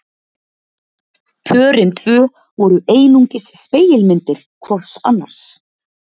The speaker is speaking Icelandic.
Pörin tvö voru einungis spegilmyndir hvort annars